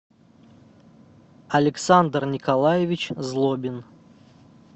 александр николаевич злобин